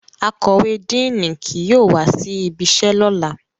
Akọwe Díinì ki yóò wa si ibiṣẹ lọla